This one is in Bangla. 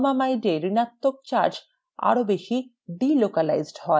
formamide ঋণাত্মক charge আরো বেশি delocalized হয়